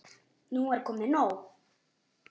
Nú er komið nóg!